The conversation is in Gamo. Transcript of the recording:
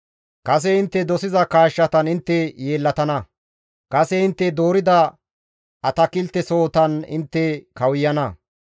Kase intte dosiza kaashshatan intte yeellatana; kase intte doorida atakiltesohotan intte kawuyana.